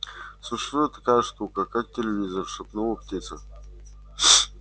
существует такая штука как телевизор шепнула птица